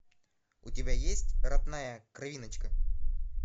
у тебя есть родная кровиночка